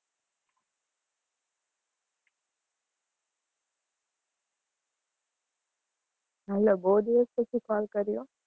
hello બઉ દિવાસ પછી call કરીયો.